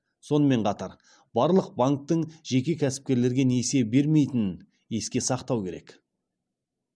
сонымен қатар барлық банктің жеке кәсіпкерлерге несие бермейтінін есте сақтау керек